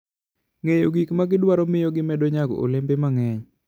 Ng'eyo gik ma gidwaro miyo gimedo nyago olembe mang'eny.